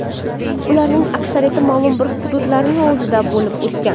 Ularning aksariyati ma’lum bir hududlarning o‘zida bo‘lib o‘tgan.